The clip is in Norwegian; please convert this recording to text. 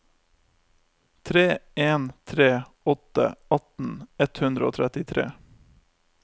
tre en tre åtte atten ett hundre og trettitre